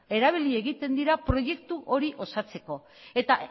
erabili egiten dira proiektu hori osatzeko eta